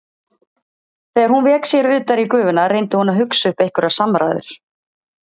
Þegar hún vék sér utar í gufuna reyndi hún að hugsa upp einhverjar samræður.